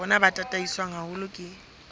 rona bo tataiswe haholo ke